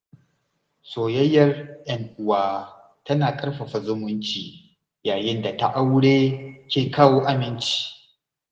Soyayyar ‘yan uwa tana ƙarfafa zumunci, yayin da ta aure ke kawo aminci.